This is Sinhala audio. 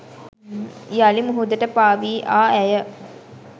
යළි මුහුදට පා වී ආ ඇය